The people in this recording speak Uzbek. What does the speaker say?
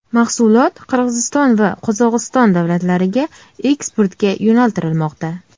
Mahsulot Qirg‘iziston va Qozog‘iston davlatlariga eksportga yo‘naltirilmoqda.